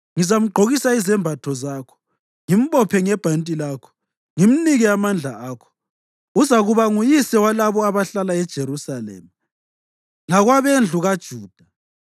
Ngizamgqokisa izembatho zakho, ngimbophe ngebhanti lakho, ngimnike amandla akho. Uzakuba nguyise walabo abahlala eJerusalema lakwabendlu kaJuda.